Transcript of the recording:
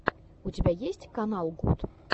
у тебя есть канал гуд